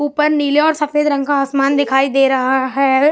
ऊपर नीले और सफेद रंग का आसमान दिखाई दे रहा है।